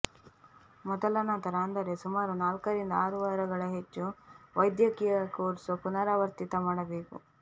ಮೊದಲ ನಂತರ ಅಂದರೆ ಸುಮಾರು ನಾಲ್ಕರಿಂದ ಆರು ವಾರಗಳ ಹೆಚ್ಚು ವೈದ್ಯಕೀಯ ಕೋರ್ಸ್ ಪುನರಾವರ್ತಿತ ಮಾಡಬೇಕು